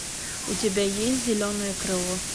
у тебя есть зеленое крыло